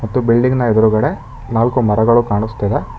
ಮತ್ತು ಬಿಲ್ಡಿಂಗ್ನ ಎದುರುಗಡೆ ನಾಲ್ಕು ಮರಗಳು ಕಾಣುಸ್ತಿದೆ.